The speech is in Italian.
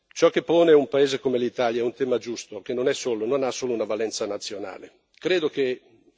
Allora, ciò che pone un paese come l'Italia è un tema giusto, che non ha solo una valenza nazionale.